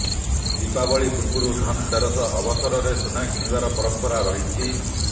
ଦୀପାବଳୀ ପୂର୍ବରୁ ଧନତେରସ ଅବସରରେ ସୁନା କିଣିବାର ପରମ୍ପରା ରହିଛି